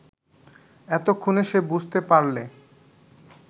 এতক্ষণে সে বুঝতে পারলে